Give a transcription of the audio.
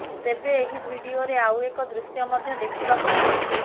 ତେବେ ଏହି ଭିଡିଓରେ ଆଉ ଏକ ଦୃଶ୍ୟ ମଧ୍ୟ ଦେଖିବାକୁ ମିଳିଛି